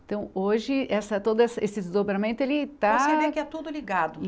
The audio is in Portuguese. Então, hoje, essa todo esse esse desdobramento, ele está... Você vê que é tudo ligado